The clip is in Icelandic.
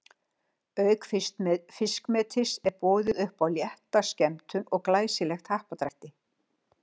Auk fiskmetis er boðið upp á létta skemmtun og glæsilegt happadrætti.